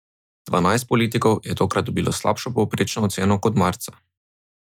Dvanajst politikov je tokrat dobilo slabšo povprečno oceno kot marca.